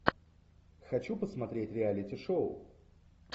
хочу посмотреть реалити шоу